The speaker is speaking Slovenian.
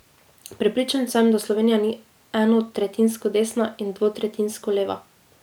Prepričan sem, da Slovenija ni enotretjinsko desna in dvotretjinsko leva.